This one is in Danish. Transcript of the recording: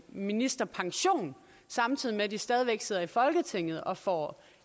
ministerpension samtidig med at de stadig væk sidder i folketinget og får